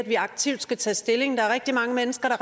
vi aktivt skal tage stilling der er rigtig mange mennesker der